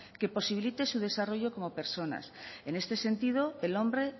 que posibilite su desarrollo como personas en este sentido el hombre